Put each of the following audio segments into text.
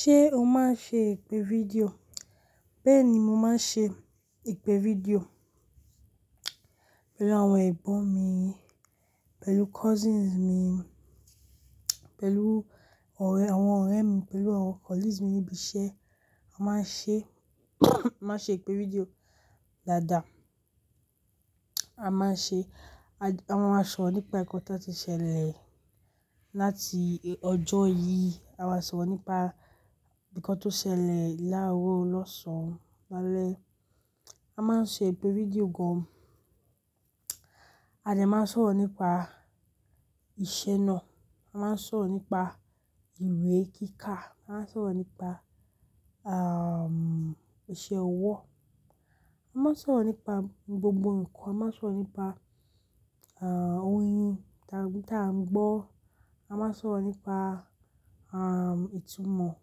Ṣé o máa ń ṣe ìpè fídíò? Bẹ́ẹ̀ni, mo máa ń ṣe ìpè fídíò pẹ̀lú àwọn ẹ̀gbọ́n mi, pẹ̀lú cousins mi, pẹ̀lú àwọn ọ̀rẹ́ mi, pẹ̀lú àwọn colleagues mi níbi iṣẹ́. A máa ń ṣe, a máa ń ṣe ìpè fídíò dáadáa. A máa ń ṣe, a máa ń sọ̀rọ̀ nípa nǹkan tó ti ṣẹlẹ̀ láti ọjọ́ yìí, a máa sọ̀rọ̀ nípa nǹkan tó ṣẹlẹ̀ láàárọ̀, lọ́sàn-án, lálẹ́. A máa ń ṣe ìpè fídíò gan-an. A lè máa sọ̀rọ̀ nípa ìṣènà, a máa ń sọ̀rọ̀ nípa ìwé kíkà, a máa ń sọ̀rọ̀ nípa, um, ìṣe ọwọ́. A máa ń sọ̀rọ̀ nípa gbogbo ǹkan. A máa ń sọ̀rọ̀ nípa, um, orin ta-tá a ń gbọ́. A máa ń sọ̀rọ̀ nípa, um, itù mọ̀.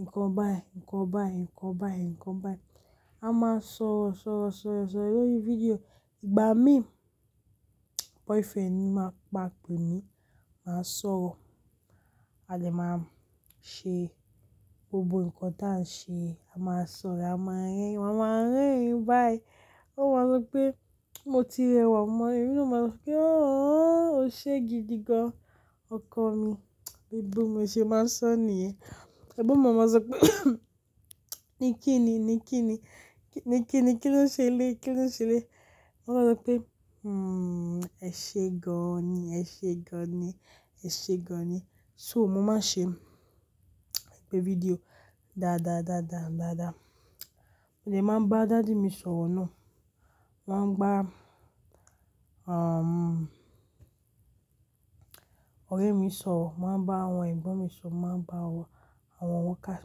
Nǹkan báyiì, nǹkan báyiì, nǹkan báyiì, nǹkan báyiì. A máa ń sọ̀rọ̀, sọ̀rọ̀, sọ̀rọ̀, sọ̀rọ̀ lórí fídíò. Ìgbà mí, boyfriend mi máa ń pa àpè mi, màá sọ̀rọ̀. A lè máa ṣe gbogbo ǹkan tó à ń ṣe. A máa sọ̀rọ̀, a máa rẹ́rìn-ín, màá ma rẹ́rìn-ín bá i. Ó máa ń sọ pé, "Mo ti rẹwà mọ́ ẹ." Mi òun máa ń sọ pé, "Ọ̀h, o ṣe gidi gan. Ọkọ mi." Bíi bẹ́ẹ̀ ni mo ṣe máa ń sọ nìyẹn. Ẹ̀gbọ́n mi máa ń sọ pé, "Nìkíni, nìkíni, nìkíni, kí ló ń ṣe le? Kí ló ń ṣe le?" Mo máa ń sọ pé, "Hmm, ẹ ṣe gan-an ni, ẹ ṣe gan-an ni, ẹ ṣe gan-an ni." So mo máa ń ṣe ìpè fídíò dáadáa, dáadáa, dáadáa. Mo lè máa ń bá daddy mi sọ̀rọ̀ náà. Mo máa ń bá, um, ọ̀rẹ́ mi sọ̀rọ̀, mo máa ń bá àwọn ẹ̀gbọ́n mi sọ̀rọ̀, mo máa ń bá àwọn ọmọ wokáà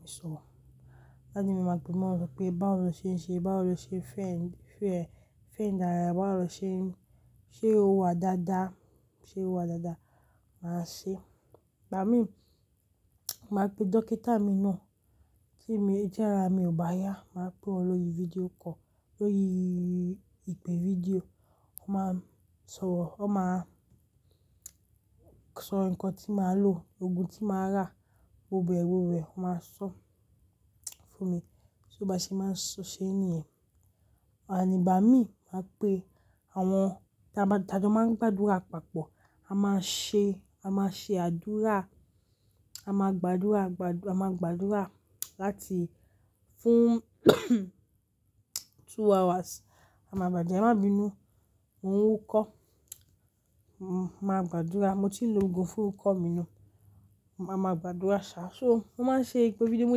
mi sọ̀rọ̀. Daddy mi máa ń pe mi, máa ń sọ pé, "Báwo lo ṣe ń ṣe? Báwo lo ṣe fẹ́-fẹ́-fẹ́ ń darà? Báwo lo ṣe ń-- ṣé o wà dáadáa? Ṣé o wà dáadáa?" Màá ṣé. Ìgbà mí, màá pe dókítà mi náà tí mo ń jẹ́ ara mi ò bá yá. Màá pe òun lórí fídíò call, lórí ìpè fídíò. Ó máa ń sọ̀rọ̀, ó máa sọ ǹkan tí màá lò, òògùn tí màá rà, gbogbo ẹ̀wọ̀n rẹ̀ ó máa ń sọ fún mi. Bí ó bá ṣe máa ń ṣe nìyẹn. Àní, ìgbà mí, màá pe àwọn táa máa ń gbàdúrà papọ̀. A máa ṣe, a máa ṣe àdúrà, a máa gbàdúrà, gbà-- a máa gbàdúrà láti fún, two hours. A máa bàjẹ́, e máa bínú, mo n wukọ́. M-màá gbàdúrà, mo ti ń lo òògùn fún ikọ́ mi náà. A máa gbàdúrà ṣá. So mo máa ń ṣe ìpè fídíò. Mo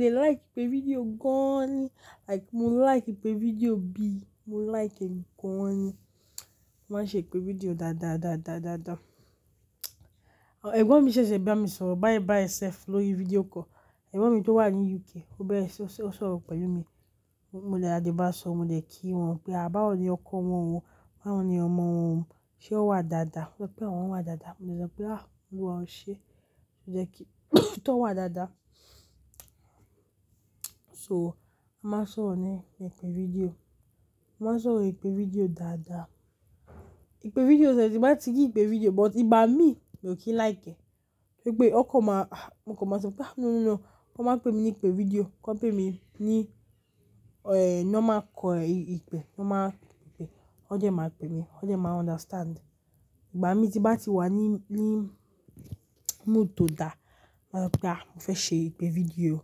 de like ìpè fídíò gan-an ni. Like, mo like ìpè fídíò bi. Mo like ẹ́ gan-an ni. Mo máa ń ṣe ìpè fídíò dáadáa, dáadáa, dáadáa. Ẹ̀gbọ́n mi ṣẹ̀ṣẹ̀ bá mi sọ̀rọ̀ bai bai sef lórí fídíò call. Ẹ̀gbọ́n mi tó wà ní UK, ó bẹ́ẹ̀re ṣi n sọ̀rọ̀ pẹ̀lú mi. Mo lè, a lè bá sọ, mo lè kí wọn pé, "Àbáwo ni ọkọ wọn wọ́n? Báwo ni ọmọ wọn?" ṣé wọ́n wà dáadáa? Wọ́n sọ pé àwọn wọ́n wà dáadáa. Mo lè sọ pé, "Àh, Olúwa, ó ṣe é." Mo lè kí i, tó wà dáadáa. So a máa ń sọ̀rọ̀ ni ìpè fídíò. A máa ń sọ ìpè fídíò dáadáa. Ìpè fídíò ṣẹ̀ṣẹ̀ bá ti jẹ́ ìpè fídíò, but ìgbà mi, mi ò kí like ẹ̀. Gẹ́gẹ́ bí ó kọ máa, ah, mo kọ máa sọ pé, "Ah, no, no, no." Wọn máa ń pe mi ní ìpè fídíò. Wọ́n pe mi ní, eehnm, ní ó máa kọ ìpè, ó máa ń pe, ó jẹ́ máa ń pe mi, ó jẹ́ máa ń understand. Ìgbà mi tí bá ti wà ní, ní mood tó da, màá sọ pé, "Ah, mo fẹ́ ṣe ìpè fídíò."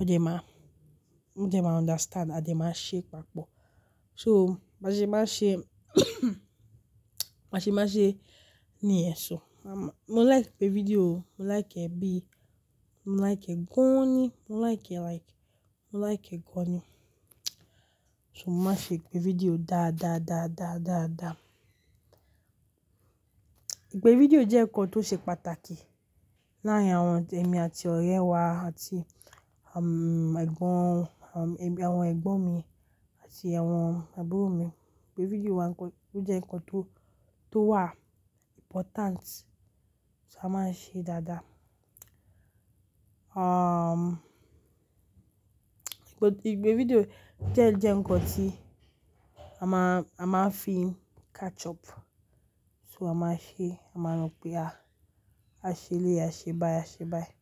Ó dẹ́ máa, ó de máa understand. A dẹ́ máa ṣe papọ̀. So bá ṣe máa nṣe, màá nṣe máa ṣe nìyẹn. So màá, mo like ìpè fídíò. Mo like ẹ́ bi. Mo like ẹ́ gan-an ni. Mo like ẹ́ like, mo like ẹ́ gan-an ni. So mo máa ṣe ìpè fídíò dáadáa, dáadáa, dáadáa. Ìpè fídíò jẹ́ ǹkan tó ṣe pàtàkì láàárín àwọn tẹmi àti ọ̀rẹ́ wá àti, um, ẹ̀gbọ́n, um, ẹbi, àwọn ẹ̀gbọ́n mi àti àwọn àbúrò mi. Ìpè fídíò wà ǹkan, ó jẹ́ ǹkan tó, tó wà important. So a máa ń ṣe dáadáa. Um, ìpè, ìpè fídíò jẹ́ ń jẹ́ ǹkan tí a máa, a máa ń fi catch up. So a máa ṣe, a máa rọ̀ pé, "Ah, a ṣe léè, a ṣe báyiì, a ṣe báyiì."